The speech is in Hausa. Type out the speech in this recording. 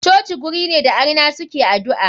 Coci guri ne da arna suke adu'a.